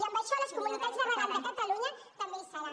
i en això les comunitats de regants de catalunya també hi seran